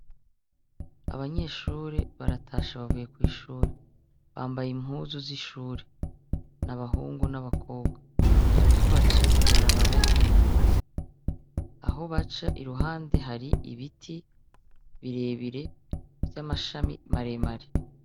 Abanyeshure baratashe bavuye kw'ishure, bambaye impuzu z'ishure, n'abahungu n'abakobwa, bariko abaca mw'ibarabara ry'ivu, aho baca iruhande hari ibiti birebire ,vy'amashami maremare.